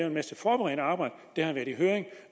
en masse forberedende arbejde det har været i høring